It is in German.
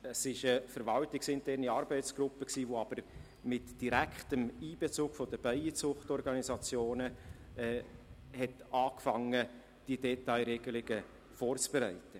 Es war eine verwaltungsinterne Arbeitsgruppe mit direktem Einbezug der Bienenzucht-Organisationen, die damit begonnen hatte, diese Detailregelungen vorzubereiten.